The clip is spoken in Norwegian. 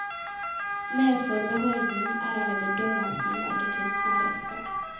Mer forbeholden er han i bedømmelsen av det kunstneriske.